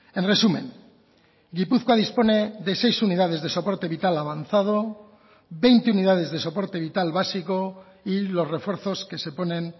en resumen gipuzkoa dispone de seis unidades de soporte vital avanzado veinte unidades de soporte vital básico y los refuerzos que se ponen